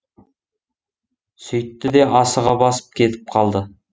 сөйтті де асыға басып кетіп қалды